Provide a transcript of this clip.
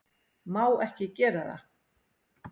Má ekki gera það.